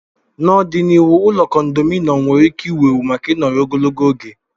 N'ọdịnihu, ụlọ kondominọm nwere ike ịwụ ewu maka ịnọru ogologo oge.